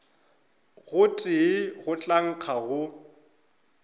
gotee go tla nkga go